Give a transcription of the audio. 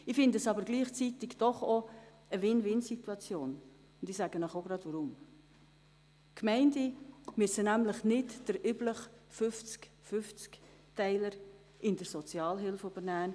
Gleichzeitig handelt sich dabei aber auch um eine Win-win-Situation, und ich sage Ihnen gleich weshalb: Die Gemeinden müssen nämlich nicht den üblichen 50-zu-50-Teiler in der Sozialhilfe übernehmen.